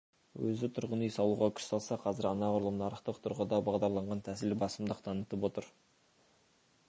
өзі тұрғын үй салуға күш салса қазір анағұрлым нарықтық тұрғыда бағдарланған тәсіл басымдық танытып отыр